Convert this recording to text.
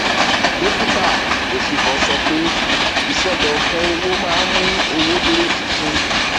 um dókítà osifo sọ pé iṣọdọkan owó máa mú owó dúró ṣinṣin